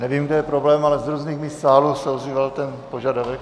Nevím, kde je problém, ale z různých míst sálu se ozýval ten požadavek.